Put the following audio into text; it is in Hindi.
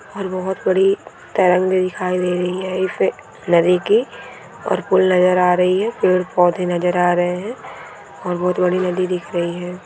और बहुत बड़ी दिखाई दे रही है नदी की और पुल नज़र आ रही है पेड़ पौधे नज़र आ रहे है और बहुत बड़ी नदी दिख रही है।